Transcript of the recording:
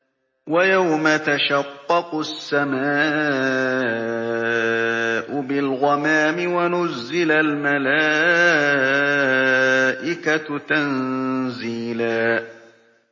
وَيَوْمَ تَشَقَّقُ السَّمَاءُ بِالْغَمَامِ وَنُزِّلَ الْمَلَائِكَةُ تَنزِيلًا